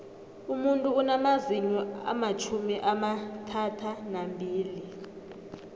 umuntu unamazinyo amatjhumi amathathanambili